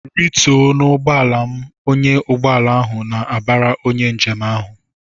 "Rituo n'ụgbọala m!" Ọnyá ugbọala ahụ na-abara onye njem ahụ.